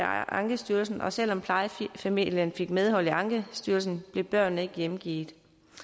ankestyrelsen og selv om plejefamilien fik medhold i ankestyrelsen blev børnene ikke hjemgivet